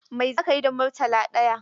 Mai za ka yi da Murtala ɗaya?